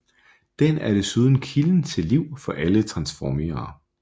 Den er desuden kilden til liv for alle Transformere